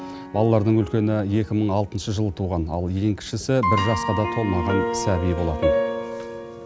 балалардың үлкені екі мың алтыншы жылы туған ал ең кішісі бір жасқа да толмаған сәби болатын